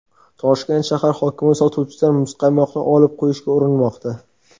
Toshkent shahar hokimi sotuvchidan muzqaymoqni olib qo‘yishga urinmoqda.